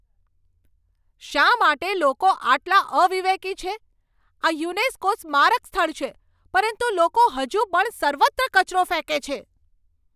શા માટે લોકો આટલા અવિવેકી છે? આ યુનેસ્કો સ્મારક સ્થળ છે, પરંતુ લોકો હજુ પણ સર્વત્ર કચરો ફેંકે છે.